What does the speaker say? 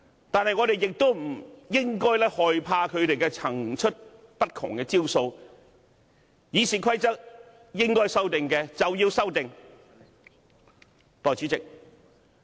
但是，我們不應害怕他們層出不窮的招數，《議事規則》如應該修訂，便要作出修訂。